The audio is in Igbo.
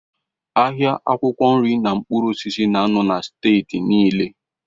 Ahịa akwụkwọ nri na mkpụrụ osisi nọ na Steeti niile.